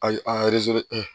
Ayi an